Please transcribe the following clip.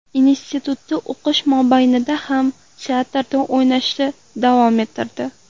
Institutda o‘qish mobaynida ham teatrda o‘ynashni davom ettirdi.